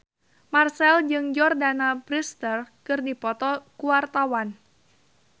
Marchell jeung Jordana Brewster keur dipoto ku wartawan